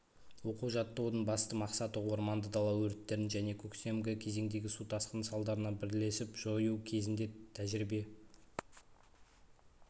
оқу-жаттығудың басты мақсаты орманды дала өрттерін және көктемгі кезеңдегі су тасқыны салдарын бірлесіп жою кезінде тәжірибе